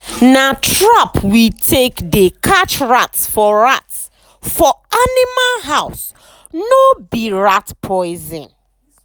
na trap we take dey catch rats for rats for animal house nor be rat poison.